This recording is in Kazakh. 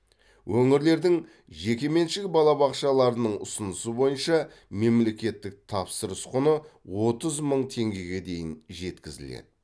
өңірлердің жекеменшік балабақшаларының ұсынысы бойынша мемлекеттік тапсырыс құны отыз мың теңгеге дейін жеткізіледі